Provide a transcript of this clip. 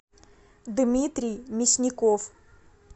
дмитрий мясников